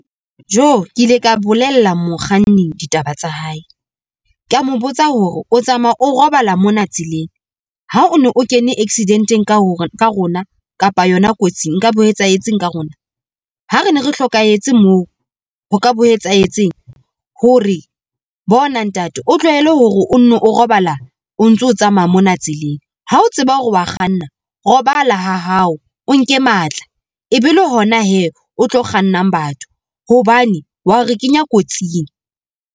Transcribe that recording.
Joo! ke ile ka bolella mokganni ditaba tsa hae, kea mo botsa hore o tsamaya o robala mona tseleng ha o no o kene accident-eng ka rona kapa yona kotsing nkabe ho etsahetseng ka rona? Ha re ne re hlokahetse moo ho ka be ho etsahetseng? Ho re bona ntate o tlohele hore o nno o robala o ntso tsamaya mona tseleng. Ha o tseba hore wa kganna robala ha hao, o nke matla e be le hona hee o tlo kgannang batho hobane wa ho re kenya kotsing.